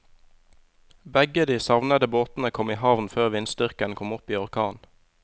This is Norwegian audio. Begge de savnede båtene kom i havn før vindstyrken kom opp i orkan.